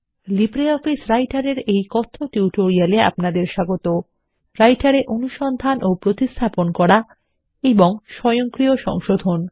LibreOffice রাইটের এর এই কথ্য টিউটোরিয়াল এ আপনাদেরস্বাগত রাইটার এঅনুসন্ধান ও প্রতিস্থাপন করা এবং স্বয়ংক্রিয় সংশোধন